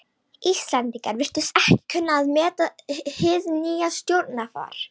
Íslendingar virtust ekki kunna að meta hið nýja stjórnarfar.